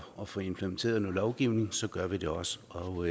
at få implementeret noget lovgivning gør vi det også og